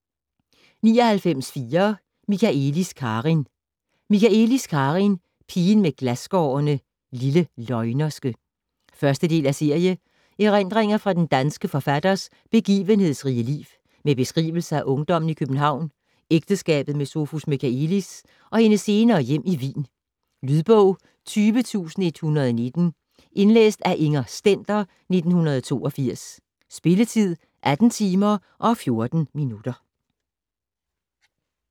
99.4 Michaëlis, Karin Michaëlis, Karin: Pigen med glasskårene ; Lille løgnerske 1. del af serie. Erindringer fra den danske forfatters begivenhedsrige liv, med beskrivelser af ungdommen i København, ægteskabet med Sophus Michaëlis og hendes senere hjem i Wien. Lydbog 20119 Indlæst af Inger Stender, 1982. Spilletid: 18 timer, 14 minutter.